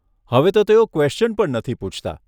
હવે તો તેઓ ક્વેશ્ચન પણ નથી પૂછતા.